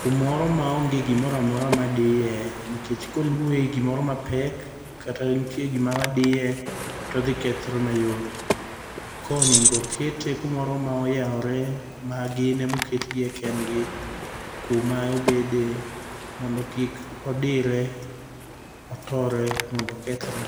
Kumoro maonge gimoro amora madiye, nikech koluowe gimoro mapek, kata nitie gima diye to odhi kethore mayot. Koro onego kete kumoro moyawore ma gin emoketgie kendgi. Kuma obede mondo kik odire, otore mondo okethre.